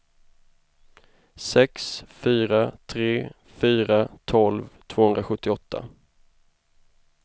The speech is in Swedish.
sex fyra tre fyra tolv tvåhundrasjuttioåtta